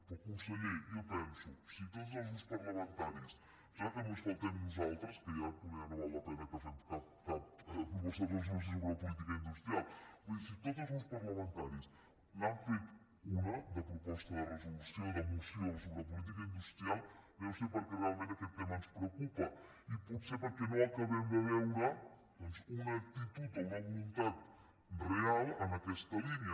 però conseller jo penso si tots els grups parlamentaris em sembla que només faltem nosaltres que ja poder no val la pena que fem cap proposta de resolució sobre política industrial vull dir si tots els grups parlamentaris n’han fet una de proposta de resolució de moció sobre política industrial deu ser perquè realment aquest tema ens preocupa i potser perquè no acabem de veure doncs una actitud o una voluntat real en aquesta línia